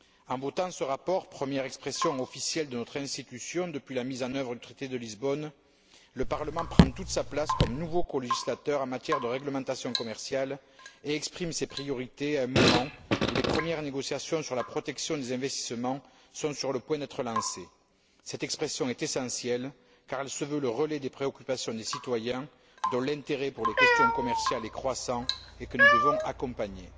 En votant ce rapport, première expression officielle de notre institution depuis la mise en œuvre du traité de Lisbonne, le Parlement prend toute sa place comme nouveau colégislateur en matière de réglementation commerciale, et exprime ses priorités à un moment où les premières négociations sur la protection des investissements sont sur le point d'être lancées. Cette expression est essentielle car elle se veut le relais des préoccupations des citoyens, dont l'intérêt pour les questions commerciales est croissant et que nous devons accompagner.